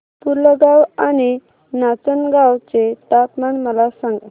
पुलगांव आणि नाचनगांव चे तापमान मला सांग